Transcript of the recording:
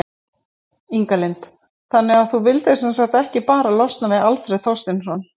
Inga Lind: Þannig að þú vildir sem sagt ekki bara losna við Alfreð Þorsteinsson?